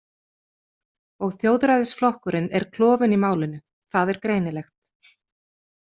Og Þjóðræðisflokkurinn er klofinn í málinu, það er greinilegt.